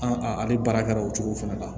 An ale baara kɛra o cogo fɛnɛ la